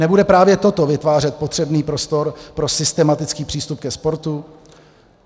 Nebude právě toto vytvářet potřebný prostor pro systematický přístup ke sportu?